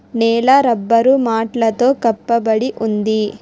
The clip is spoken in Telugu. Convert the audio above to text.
నేల రబ్బరు మాటలతో కప్పబడి ఉంది.